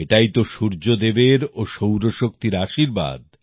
এটাই তো সূর্য দেবের ও সৌর শক্তির আশীর্বাদ